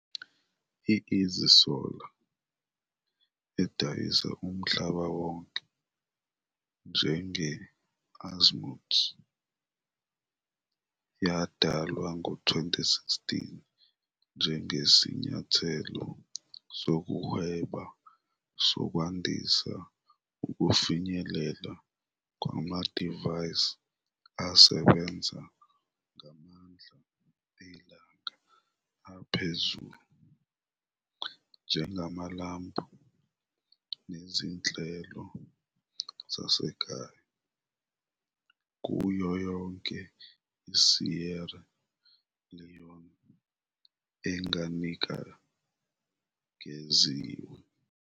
I-Easy Solar, edayisa umhlaba wonke njenge-Azimuth, yadalwa ngo-2016 njengesinyathelo sokuhweba sokwandisa ukufinyeleleka kwamadivayisi asebenza ngamandla elanga aphezulu, njengamalambu nezinhlelo zasekhaya, kuyo yonke iSierra Leone enganikeziwe.